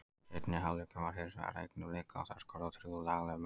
Seinni hálfleikurinn var hinsvegar eign Blika og þær skoruðu þrjú lagleg mörk.